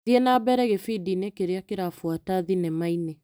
Thiĩ na mbere gĩbindi-inĩ kĩrĩa kĩrabuata thinema-inĩ .